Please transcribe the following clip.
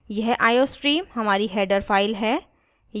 यह iostream हमारी header file है